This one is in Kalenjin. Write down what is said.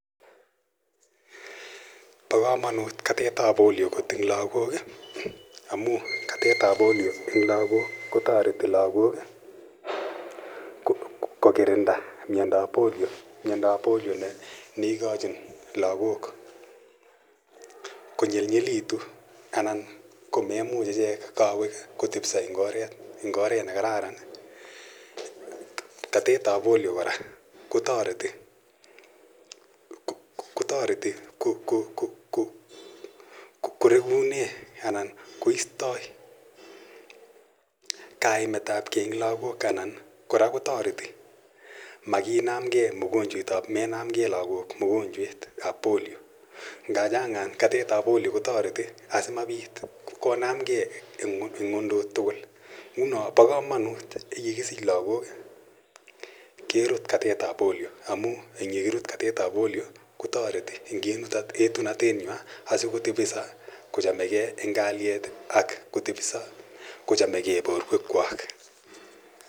Pa kamanut kot katet ap Polio eng' lagok amu katet ap Polio eng' lagok ko tareti lagok ko kirinda mindo ap Polio ne ikachin lagok ko nyelnyelitu anan ko memuch ichek kawek kotepisa eng' oret ne kararan. Katet ap Polio kora kotareti ko rekune anan koistai kainet ap ge eng' lagok anan kora kotareti makinamgei lagok mkonchwet ap menamgei lagok mogonchwet ap Polio. Ngachang'an katet ap Polio kotareti asimapit konamgei ng'undut tugul. Nguno ko pa kamanut ye kisich lagok kerut katet ap Polio . Ye kakirut katet ap Polio ko tareti asikotepisa kochame gei eng' kalyet ak kotepisa kochamegei porwekwak.